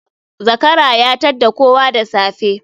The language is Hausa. Zakara ya tadda kowa da safe